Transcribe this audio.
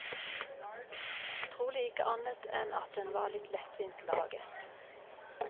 Trolig ikke annet enn at den var litt lettvint laget.